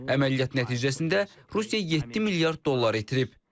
Əməliyyat nəticəsində Rusiya 7 milyard dollar itirib.